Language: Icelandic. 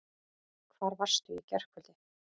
Hvar varstu í gærkvöldi?